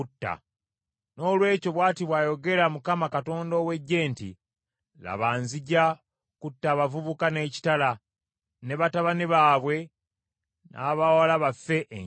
Noolwekyo bw’ati bw’ayogera Mukama Katonda ow’Eggye nti, “Laba, nzija kutta abavubuka n’ekitala; ne batabani baabwe n’abawala bafe enjala.